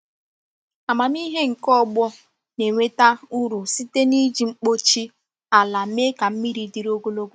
Amamihe nke ọgbọ na-enweta uru site n’iji mkpuchi ala mee ka mmiri dịrị ogologo.